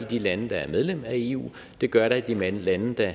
i de lande der er medlem af eu det gør der i de lande lande der